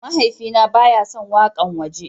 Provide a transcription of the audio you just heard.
Mahaifina ba ya son wakan waje.